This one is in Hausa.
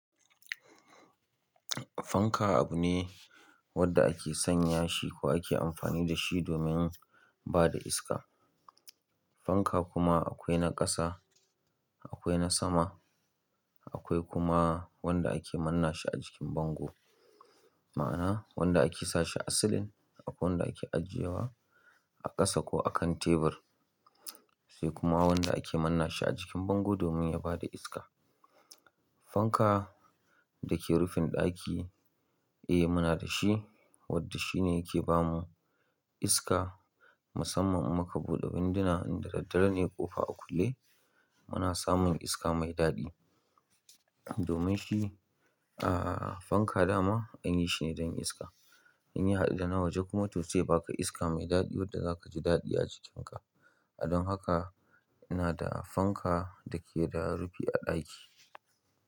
Fanka abu ne wanda ake sanya shi ko ake amfani da shi domin bada iska. Fanka kuma akwai na ƙasa, akwai na sama, akwai kuma wanda ake manna shi a jikin bango. Ma'ana wanda ake sashi a silin, akwai wanda ake ajiyewa a ƙasa ko a kan tebur, sai kuma wanda ake manna shi a jikin bango domin yabada iska. Fanka dake rufin ɗaki, eh muna da shi, wanda shine yake bamu iska musamman in muka buɗe windina inda daddare ne ƙofa a kulle muna samun iska mai daɗi. Domin shi, ahhh fanka dama anyi shine don iska. Inya haɗu da na waje kuma to sai ya baka iska mai daɗi wanda zaka ji daɗi a jikinka. Don haka ina da fanka dake da rufi a ɗaki.